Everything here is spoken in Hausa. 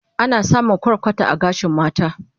Ana samun kwarkwata a gashin mata